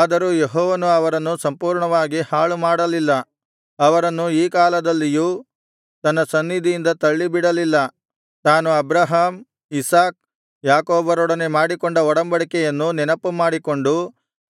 ಆದರೂ ಯೆಹೋವನು ಅವರನ್ನು ಸಂಪೂರ್ಣವಾಗಿ ಹಾಳುಮಾಡಲಿಲ್ಲ ಅವರನ್ನು ಈ ಕಾಲದಲ್ಲಿಯೂ ತನ್ನ ಸನ್ನಿಧಿಯಿಂದ ತಳ್ಳಿಬಿಡಲಿಲ್ಲ ತಾನು ಅಬ್ರಹಾಮ್ ಇಸಾಕ್ ಯಾಕೋಬರೊಡನೆ ಮಾಡಿಕೊಂಡ ಒಡಂಬಡಿಕೆಯನ್ನು ನೆನಪು ಮಾಡಿಕೊಂಡು